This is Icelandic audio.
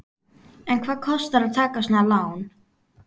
En hvað kostar að taka svona lán?